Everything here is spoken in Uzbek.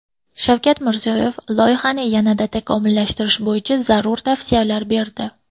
Shavkat Mirziyoyev loyihalarni yanada takomillashtirish bo‘yicha zarur tavsiyalar berdi.